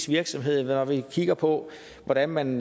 virksomhed eller når vi kigger på hvordan man